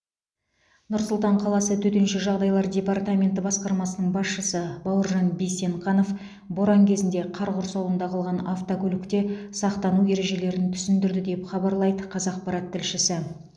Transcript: нұр сұлтан қаласы төтенше жағдайлар департаменті басқармасының басшысы бауыржан бейсенқанов боран кезінде қар құрсауында қалған автокөлікте сақтану ережелерін түсіндірді деп хабарлайды қазақпарат тілшісі